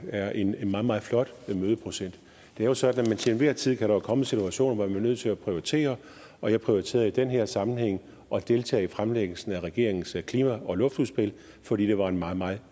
er en meget meget flot mødeprocent det er jo sådan at der til enhver tid kan komme situationer hvor vi er nødt til at prioritere og jeg prioriterede i den her sammenhæng at deltage i fremlæggelsen af regeringens klima og luftudspil fordi det var en meget meget